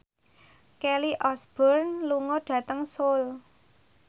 Kelly Osbourne lunga dhateng Seoul